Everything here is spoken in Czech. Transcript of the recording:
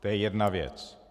To je jedna věc.